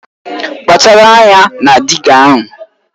Kpachara anya na dịga ahụ!